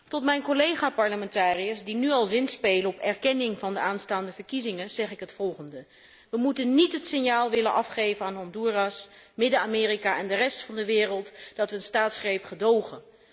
Tot mijn collega parlementariërs, die nu al zinspelen op erkenning van de aanstaande verkiezingen, zeg ik het volgende we moeten niet het signaal afgeven aan Honduras, Midden Amerika en de rest van de wereld dat we een staatsgreep gedogen.